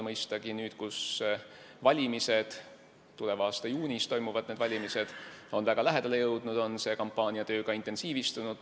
Mõistagi on nüüd, kui valimised – need valimised toimuvad tuleva aasta juunis – on väga lähedale jõudnud, see kampaaniatöö intensiivistunud.